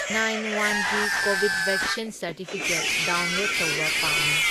Nine ꯋꯥꯟꯒꯤ Covid vaccine certificate download ꯇꯧꯕ ꯄꯥꯝꯃꯤ꯫